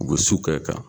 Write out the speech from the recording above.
U bɛ su kɛ